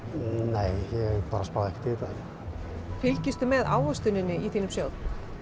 nei ég bara spái ekkert í þetta fylgistu með ávöxtuninni í þínum sjóð